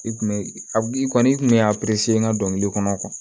I kun bɛ a i kɔni i kun mɛ a n ka dɔnkili kɔnɔ